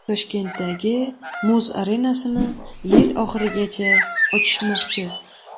Toshkentdagi muz arenasini yil oxirigacha ochishmoqchi.